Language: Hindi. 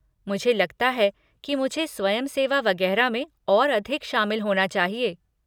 मुझे लगता है कि मुझे स्वयंसेवा वगेरह में और अधिक शामिल होना चाहिए।